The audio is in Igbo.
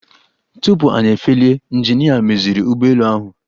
Tupu anyị efelie, ịnjinịa meziri ụgbọelu ahụ.